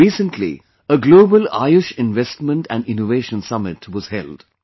Recently, a Global Ayush Investment and Innovation Summit was held